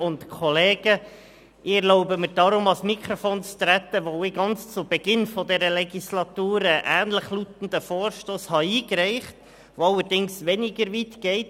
Ich erlaube mir, ans Mikrofon zu treten, weil ich ganz zu Beginn dieser Legislaturperiode einen ähnlich lautenden Vorstoss eingereicht habe, der allerdings weniger weit geht: